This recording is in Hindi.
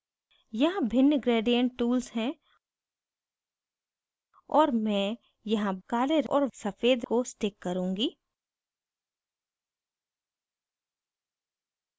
यहाँ भिन्न gradient tools हैं और मैं यहाँ काले और सफ़ेद को stick करुँगी